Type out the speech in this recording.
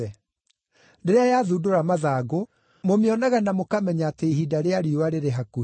Rĩrĩa yathundũra mathangũ, mũmĩonaga na mũkamenya atĩ ihinda rĩa riũa rĩrĩ hakuhĩ.